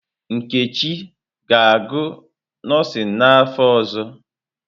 Nkechi ga-agụ nọọsịn n'afọ ọzọ?